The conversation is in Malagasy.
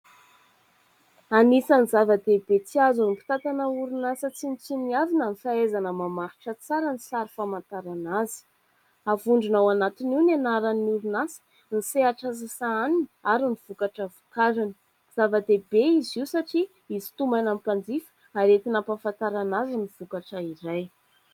Anisan'ny zava-dehibe tsy azony mpitantana orinasa tsinotsinonavina ny fahaizana mamaritra tsara ny sary famantarana azy, avondrina ao anatiny io ny anaran'ny orinasa ny sehatra sahaniny ary ny vokatra vokariny, zava-dehibe izy io satria hisintomana mpanjifa ary entina hampafantarana azy ny vokatra iray.